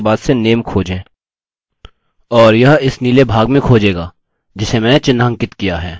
अतः 7 के बाद से name खोजें और यह इस नीले भाग में खोजेगा जिसे मैंने चिन्हांकित किया है